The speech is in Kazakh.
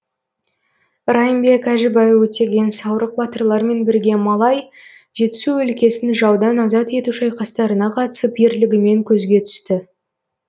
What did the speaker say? райымбек әжібай өтеген саурық батырлармен бірге малай жетісу өлкесін жаудан азат ету шайқастарына қатысып ерлігімен көзге түсті